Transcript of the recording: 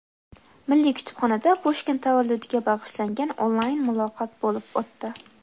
Milliy kutubxonada Pushkin tavalludiga bag‘ishlangan onlayn muloqot bo‘lib o‘tdi.